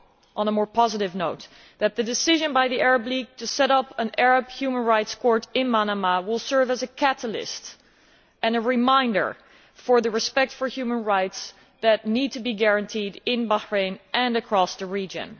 On a more positive note, I hope that the decision by the Arab League to set up an Arab Human Rights Court in Manama will serve as a catalyst and a reminder about the respect for human rights that needs to be guaranteed in Bahrain and across the region.